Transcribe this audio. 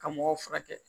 Ka mɔgɔw furakɛ